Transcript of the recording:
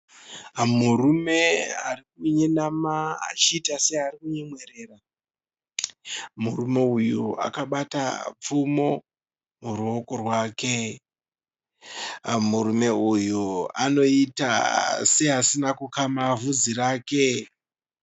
Murume arikunyenama achiita searikunyemwerera, Murume uyu akabata pfumo muruoko rwake. Murume uyu anoita seasina kukama vhudzi rake.